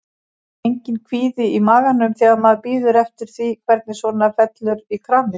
Enginn kvíði í maganum þegar maður bíður eftir því hvernig svona fellur í kramið?